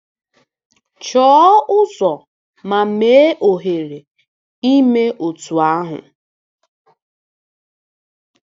Chọọ ụzọ ma mee ohere ime otú ahụ.